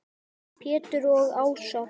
Pétur og Ása.